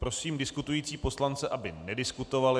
Prosím diskutující poslance, aby nediskutovali.